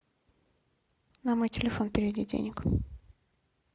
на мой телефон переведи денег